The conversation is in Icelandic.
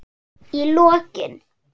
Í lokin.